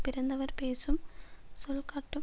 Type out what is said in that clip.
பிறந்தவர் பேசும் சொல் காட்டும்